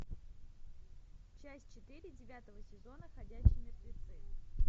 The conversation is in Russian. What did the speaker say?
часть четыре девятого сезона ходячие мертвецы